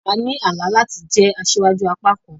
A ní àlá láti jẹ asíwájú àpá kan